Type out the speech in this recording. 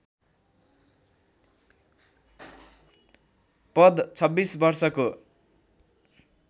पद २६ वर्षको